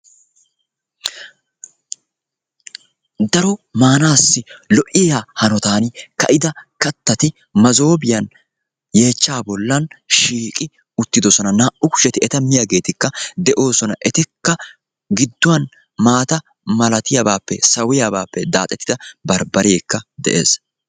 daro maanaassi lo'iya hanotan ka'ida kattati masoopiyan yeechcha boli shiiqqi uttidosona. bambareekka de'ees.